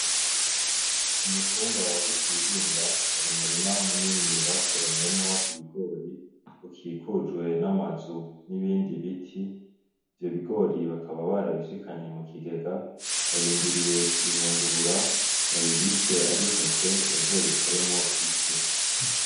Ku mutumba wa Butihinda hari umurima munini basoromyemwo ibibigori. Ukikujwe n'amazu n'ibindi biti. Ivyo bigori bakaba barabishikanye mu kigega. Barindiriye kubihungurura babibike ari intete bazobikoremwo ifu.